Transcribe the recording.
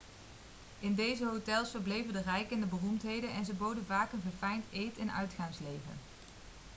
in deze hotels verbleven de rijken en de beroemdheden en ze boden vaak een verfijnd eet en uitgaansleven